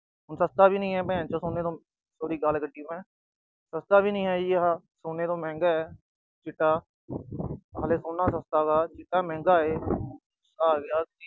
ਹੁਣ ਸਸਤਾ ਵੀ ਨਈ ਆ, sorry ਗਾਲ ਕੱਢੀ ਮੈਂ। ਸਸਤਾ ਵੀ ਨਈ ਆ ਜੀ ਆਹ, ਸੋਨੇ ਤੋਂ ਮਹਿੰਗਾ ਆ ਚਿੱਟਾ। ਹਾਲੇ ਸੋਨਾ ਸਸਤਾ ਵਾ, ਚਿੱਟਾ ਮਹਿੰਗਾ ਆ।